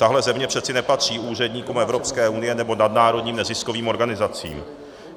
Tahle země přece nepatří úředníkům Evropské unie nebo nadnárodním neziskovým organizacím.